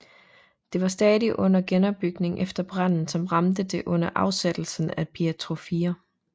Det var stadig under genopbygning efter branden som ramte det under afsættelsen af Pietro 4